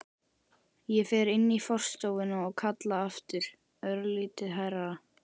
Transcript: Ég fer inn í forstofuna og kalla aftur, örlítið hærra.